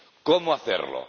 ¿Cómo hacerlo?